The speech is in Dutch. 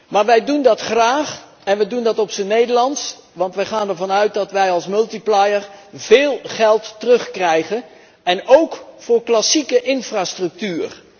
Maar wij doen dat graag, en wij doen dat op zijn Nederlands, want wij gaan ervan uit dat wij als multiplier veel geld terugkrijgen en óók voor klassieke infrastructuur.